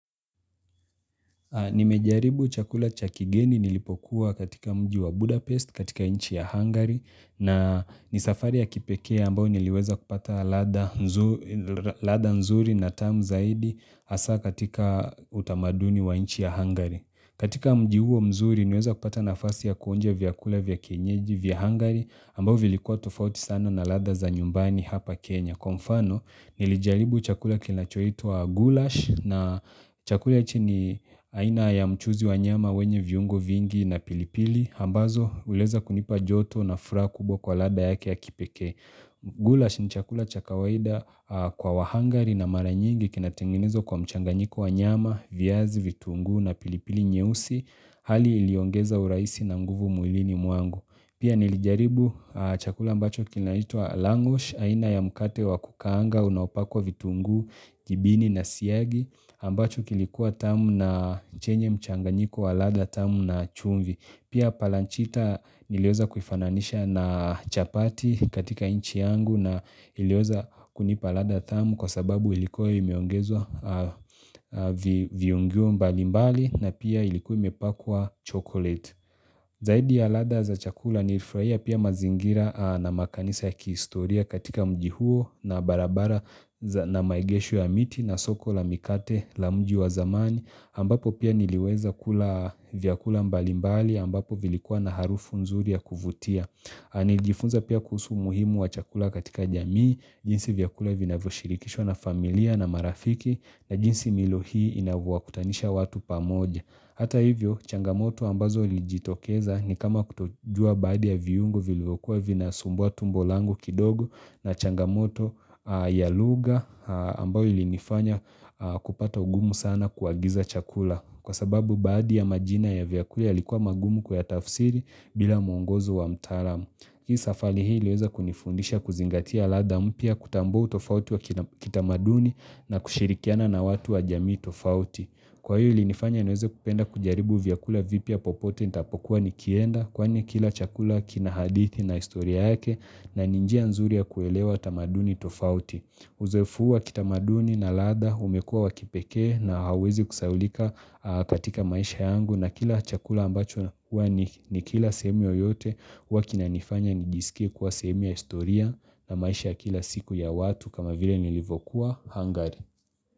Nimejaribu chakula cha kigeni nilipokuwa katika mji wa Budapest katika nchi ya Hungary na ni safari ya kipekee ambayo niliweza kupata ladha nzuri na tamu zaidi hasa katika utamaduni wa nchi ya Hungary. Katika mji huo mzuri, niliweza kupata nafasi ya kuonjo vyakula vya kienyeji vya Hungary ambao vilikuwa tofauti sana na ladha za nyumbani hapa Kenya. Kwa mfano, nilijaribu chakula kinachoitwa gulash na chakula hichi ni aina ya mchuzi wa nyama wenye viungo vingi na pilipili. Ambazo, uliweza kunipa joto na furaha kubwa kwa ladha yake ya kipekee. Gulash ni chakula cha kawaida kwa wahangari na mara nyingi kinatengenezwa kwa mchanganyiko wa nyama, viazi, vitungu na pilipili nyeusi Hali iliongeza urahisi na nguvu mwilini mwangu Pia nilijaribu chakula ambacho kinaitwa langush, aina ya mkate wa kukaanga, unaopakwa vitunguu, gibini na siyagi ambacho kilikuwa tamu na chenye mchanganyiko wa ladha tamu na chumvi Pia palanchita niliweza kufananisha na chapati katika nchi yangu na iliyoweza kunipa ladha tamu kwa sababu ilikuwa imeongezwa viungio mbalimbali na pia ilikuwa imepakwa chocolate. Zaidi ya ladha za chakula nilifurahia pia mazingira na makanisa ya kihistoria katika mji huo na barabara na maegesho ya miti na soko la mikate la mji wa zamani ambapo pia niliweza kula vyakula mbalimbali ambapo vilikuwa na harufu nzuri ya kuvutia. Nilijifunza pia kuhusu muhimu wa chakula katika jamii, jinsi vyakula vinavyo shirikishwa na familia na marafiki na jinsi milo hii inavyowakutanisha watu pamoja Hata hivyo, changamoto ambazo ilijitokeza ni kama kutojua baadhi ya viungo vilivyokuwa vinasumbua tumbo langu kidogo na changamoto ya lugha ambayo ilinifanya kupata ungumu sana kuagiza chakula Kwa sababu baadhi ya majina ya vyakuli yalikuwa magumu kuyatafsiri bila mwongozo wa mtaalam hii safari hii iliweza kunifundisha kuzingatia ladha mpya kutambua utofauti wa kitamaduni na kushirikiana na watu wa jamii tofauti. Kwa hiyo ilinifanya niweze kupenda kujaribu vyakula vipya popote nitapokuwa nikienda kwani kila chakula kina hadithi na historia yake na ni njia nzuri ya kuelewa tamaduni tofauti. Uzoefu huu wa kitamaduni na ladha umekuwa wakipekee na hauwezi kusahaulika katika maisha yangu na kila chakula ambacho ni kila sehemu yoyote huwa kinanifanya nijiskie kuwa sehemu ya historia na maisha kila siku ya watu kama vile nilivyokuwa hangari.